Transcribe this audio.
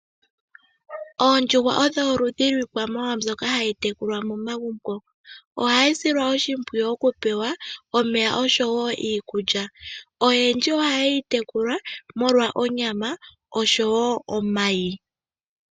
Oondjuhwa odho oludhi lwiikwamawawa mbyoka hayi tekulwa momagumbo. Ohayi silwa oshimpwiyu okupewa omeya oshowo iikulya. Oyendji ohaye yi tekula omolwa onyama noshowo omayi.